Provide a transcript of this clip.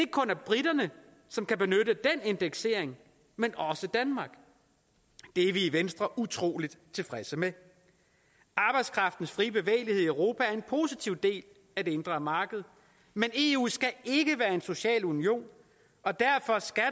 kun er briterne som kan benytte den indeksering men også danmark det er vi i venstre utrolig tilfredse med arbejdskraftens frie bevægelighed i europa er en positiv del af det indre marked men eu skal ikke være en social union og derfor skal